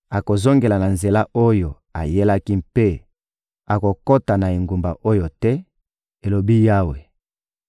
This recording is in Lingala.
Akozongela na nzela oyo ayelaki mpe akokota na engumba oyo te,› elobi Yawe.